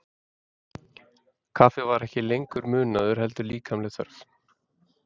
Kaffi var ekki lengur munaður heldur líkamleg þörf.